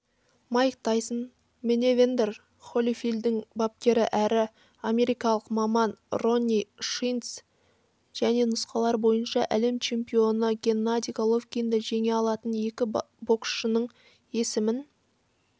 майк тайсон менэвандер холифилдтің бапкері әрі америкалық маманронни шилдс және нұсқалары бойынша әлем чемпионы геннадий головкинді жеңе алатын екі боксшының есімін